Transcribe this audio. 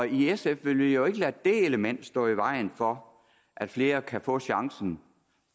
i sf vil vi jo ikke lade det element stå i vejen for at flere kan få chancen